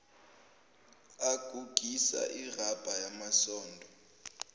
agugisa irabha yamasondo